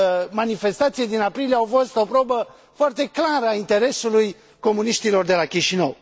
Manifestațiile din aprilie au fost o probă foarte clară a interesului comuniștilor de la Chișinău.